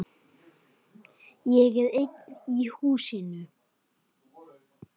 Ég er einn í húsinu.